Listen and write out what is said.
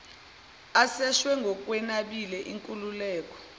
aseshwe ngokwenabile inkululeko